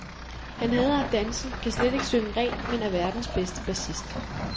Han hader at danse, kan slet ikke synge rent, men er verdens bedste bassist.